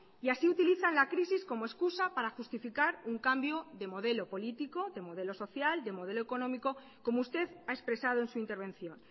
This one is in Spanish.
y así utilizan la crisis como excusa para justificar un cambio de modelo político de modelo social de modelo económico como usted ha expresado en su intervención